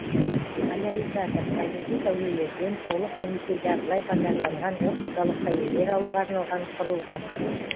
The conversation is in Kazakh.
поляризатор табиғи сәулелерден толық немесе жартылай полярланған оптикалық сәулелер алуға арналған құрылғы